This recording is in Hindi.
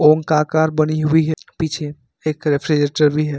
ओम का आकार बनी हुई है पीछे एक रेफ्रिजरेटर भी है।